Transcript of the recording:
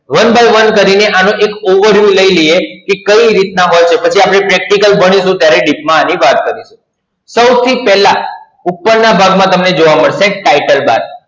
One by one કરીએ અને એક overview લઈ લઈએ કે કઈ રીતના હોય પછી આપણે practical ભણીશું ત્યારે deep માં આની વાત કરીશું. સૌ થી પહેલા ઉપર ના ભાગ માં તમને જોવા મળશે Title Bar.